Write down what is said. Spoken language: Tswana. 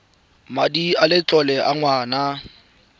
madi a letlole a ngwana